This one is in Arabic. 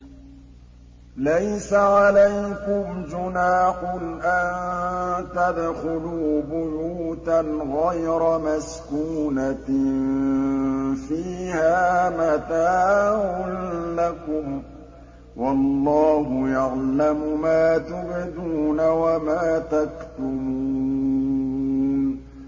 لَّيْسَ عَلَيْكُمْ جُنَاحٌ أَن تَدْخُلُوا بُيُوتًا غَيْرَ مَسْكُونَةٍ فِيهَا مَتَاعٌ لَّكُمْ ۚ وَاللَّهُ يَعْلَمُ مَا تُبْدُونَ وَمَا تَكْتُمُونَ